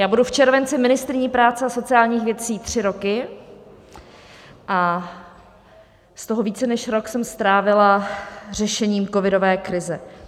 Já budu v červenci ministryní práce a sociálních věcí tři roky a z toho více než rok jsem strávila řešením covidové krize.